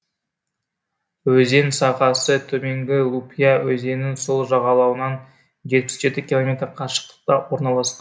өзен сағасы төменгі лупья өзенінің сол жағалауынан жетпіс жеті километр қашықтықта орналасқан